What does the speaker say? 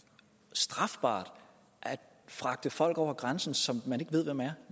strafbart at fragte folk over grænsen som man ikke ved hvem er